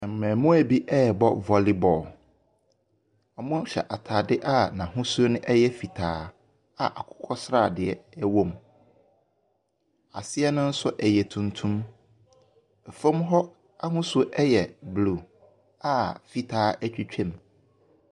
Mmɛmoa bi rebɔ volley ball. Ɔhyɛ ataade a n'ahosuo no ɛyɛ fitaa a akokɔ sradeɛ ɛwɔ mu. Aseɛ no nso ɛyɛ tuntum, ɛfam hɔ ahosuo no ɛyɛ blue a fitaa etwitwa mu.